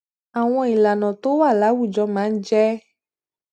àwọn ìlànà tó wà láwùjọ máa ń jé